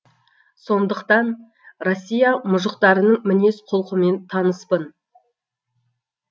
сондықтан россия мұжықтарының мінез құлқымен таныспын